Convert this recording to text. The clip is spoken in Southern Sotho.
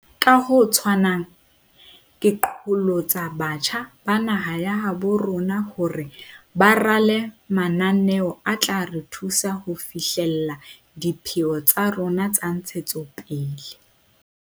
Ka ho tshwanang, ke qholotsa batjha ba naha ya habo rona hore ba rale mananeo a tla re thusa ho fi hlella dipheo tsa rona tsa dintshetsopele.